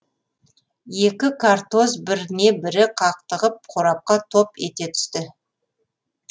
екі картоз біріне бірі қақтығып қорапқа топ ете түсті